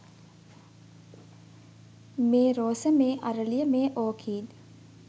මේ රෝස මේ අරලිය මේ ඕකීඩ්